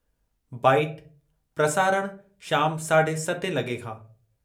--Bite-- प्रसारणः– शाम– साढे सतें लॻे खां।